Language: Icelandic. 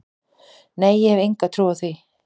Nei ég hef enga trú á því.